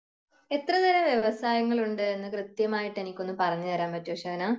എത്ര തരം വ്യവസായങ്ങൾ ഉണ്ട് എന്ന് എനിക്ക് കൃത്യമായിട്ട് എനിക്കൊന്ന് പറഞ്ഞു തരാൻ പറ്റുമോ ഷഹനാ